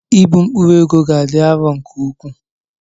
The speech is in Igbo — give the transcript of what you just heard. Ịbu mkpụrụ ego ga-adị arọ nke ukwuu.